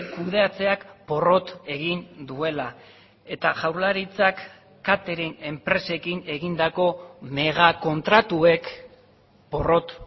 kudeatzeak porrot egin duela eta jaurlaritzak katering enpresekin egindako megakontratuek porrot